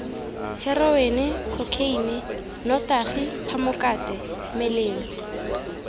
heroene khokheine nnotagi phamokate melelo